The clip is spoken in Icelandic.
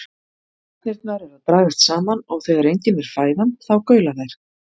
Garnirnar eru að dragast saman og þegar engin er fæðan þá gaula þær.